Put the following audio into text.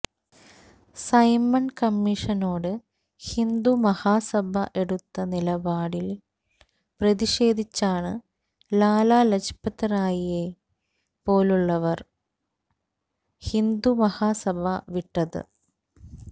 Simon കമ്മീഷനോട് ഹിന്ദു മഹാസഭ എടുത്ത നിലപാടില് പ്രതിഷേധിച്ചാണ് ലാലാ ലജ്പത്റായിയെ പോലുള്ളവര് ഹിന്ദു മഹാസഭ വിട്ടത്